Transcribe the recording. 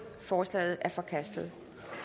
forslaget er forkastet